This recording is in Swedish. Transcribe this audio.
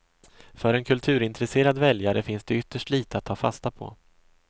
För en kulturintresserad väljare finns det ytterst lite att ta fasta på.